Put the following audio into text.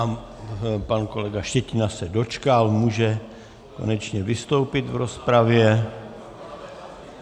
A pan kolega Štětina se dočkal, může konečně vystoupit v rozpravě.